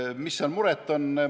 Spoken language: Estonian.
Mis mureks on?